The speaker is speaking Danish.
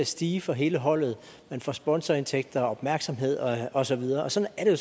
stige for hele holdet man får sponsorindtægter og opmærksomhed og og så videre sådan er det